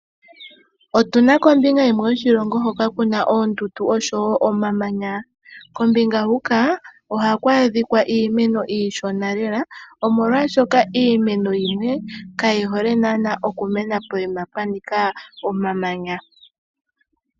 Otuna kombinga yimwe yoshilongo hoka kuna oondundu nosho wo omamanya, kombinga huka ohaku adhika iimeno iisheno lela omolwashoka iimeno yimwe kayi hole nana okumena poima pwanika omamanya.